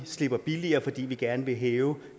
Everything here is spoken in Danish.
slipper billigere fordi vi gerne vil hæve